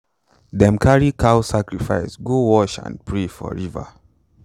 them carry cow sacrifice go wash and pray for river.